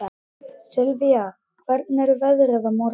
Sylvía, hvernig er veðrið á morgun?